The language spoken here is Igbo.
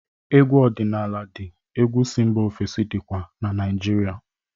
Egwu ọdịnala dị egwu si mba ofesi dịkwa na Naijirịa.